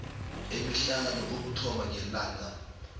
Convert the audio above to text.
emihlanu ukuthoma ngelanga